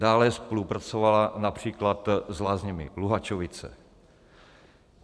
Dále spolupracovala například s Lázněmi Luhačovice.